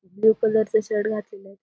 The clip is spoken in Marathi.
ब्लू कलर च शर्ट घातलेलं ये.